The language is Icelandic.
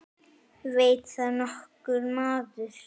Veit það nokkur maður?